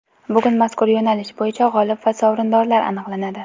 Bugun mazkur yo‘nalish bo‘yicha g‘olib va sovrindorlar aniqlanadi.